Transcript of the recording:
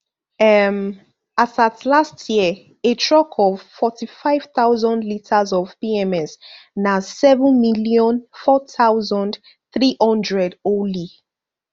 um as at last year a truck of forty-five thousand litres of pms na seven million four thousand, three hundred only